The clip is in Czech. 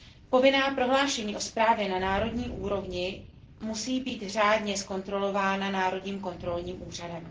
Povinná prohlášení o správě na národní úrovni musí být řádně zkontrolována národním kontrolním úřadem.